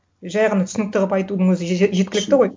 жай ғана түсінікті қылып айтудың өзі жеткілікті ғой